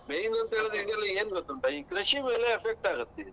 Main ಅಂತ ಹೇಳಿದ್ರೆ ಇದೆಲ್ಲ ಏನ್ ಗೊತ್ತುಂಟಾ ಕೃಷಿ ಮೇಲೆ effect ಆಗತ್ತೆ.